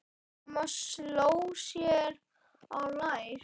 Amma sló sér á lær.